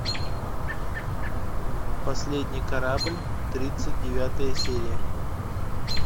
последний корабль тридцать девятая серия